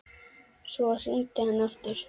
Svo hringdi hann aftur.